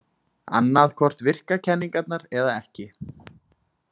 Annað hvort virka kenningarnar eða ekki.